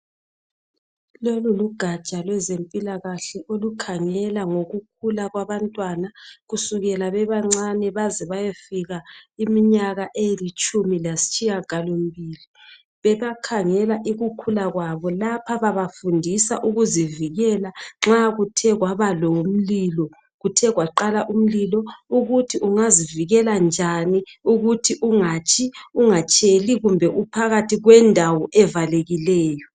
Lolu lugatsha lwezempilakahle olukhangela ngokukhula kwabantwana kusukela bebancane baze bayefika iminyaka elitshumi lasitshiyagalo mbili. Bebakhangela ukukhula kwabo lapha babafundisa ukuzivikela nxa kuthe kwaba lomlilo, kuthe kwaqala umlilo ukuthi ungazivikela njani ukuthi ungatshi ungatsheli kumbe uphakathi kwendawo evalekileyo.